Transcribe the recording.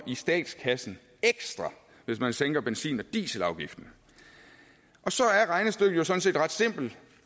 i statskassen hvis man sænker benzin og dieselafgiften så regnestykket sådan set ret simpelt